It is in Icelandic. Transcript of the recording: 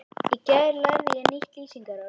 Í gær lærði ég nýtt lýsingarorð.